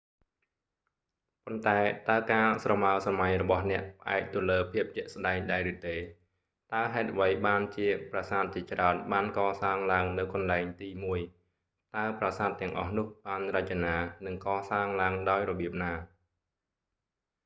ប៉ុន្តែតើការស្រមើស្រមៃរបស់អ្នកផ្អែកទៅលើភាពជាក់ស្តែងដែរឬទេ តើហេតុអ្វីបានជាប្រាសាទជាច្រើនបានកសាងឡើងនៅកន្លែងទីមួយ តើប្រាសាទទាំងអស់នោះបានរចនា និងកសាងឡើងដោយរបៀបណា